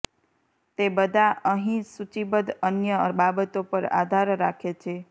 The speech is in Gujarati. તે બધા અંહિ સૂચિબદ્ધ અન્ય બાબતો પર આધાર રાખે છે